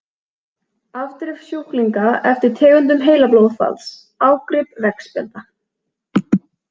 Afdrif sjúklinga eftir tegundum heilablóðfalls- Ágrip veggspjalda.